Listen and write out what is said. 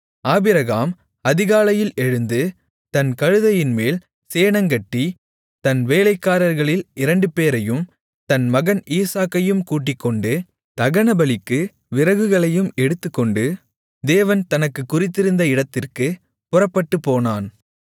Abraham அதிகாலையில் எழுந்து தன் கழுதையின்மேல் சேணங்கட்டி தன் வேலைக்காரர்களில் இரண்டுபேரையும் தன் மகன் ஈசாக்கையும் கூட்டிக்கொண்டு தகனபலிக்கு விறகுகளையும் எடுத்துக்கொண்டு தேவன் தனக்குக் குறித்திருந்த இடத்திற்குப் புறப்பட்டுப்போனான்